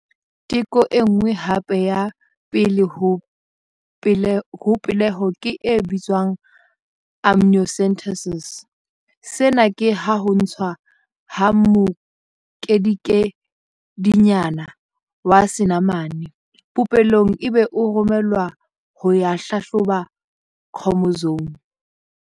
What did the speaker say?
Teko e nngwe hape ya pele ho peleho ke e bitswang amniocentesis. Sena ke haho ntshwa ha mokedikedinyana wa senamane popelong ebe o romellwa ho ya hlahloba khromosome.